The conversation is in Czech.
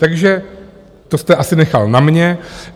Takže to jste asi nechal na mě.